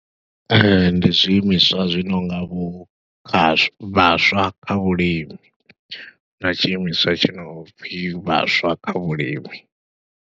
Ee, ndi zwiimiswa zwi nonga vho kha vhaswa kha vhulimi, na tshiimiswa tshi no pfhi vhaswa kha vhulimi.